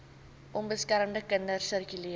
onbeskermde kinders sirkuleer